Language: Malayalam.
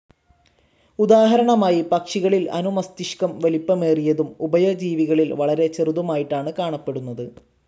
ഉദാഹരണമായി പക്ഷികളിൽ അനുമസ്തിഷ്കം വലിപ്പമേറിയതും ഉഭയജീവികളിൽ വളരെ ചെറുതുമായിട്ടാണ് കാണപ്പെടുന്നത്.